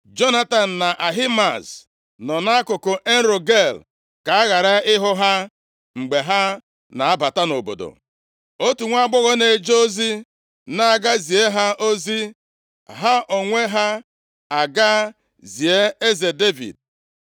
Jonatan na Ahimaaz nọ nʼakụkụ En-Rogel ka a ghara ihu ha mgbe ha na-abata nʼobodo. Otu nwaagbọghọ na-eje ozi na-aga zie ha ozi, ha onwe ha agaa zie eze Devid.